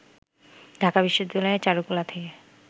ঢাকা বিশ্ববিদ্যালয়ের চারুকলা থেকে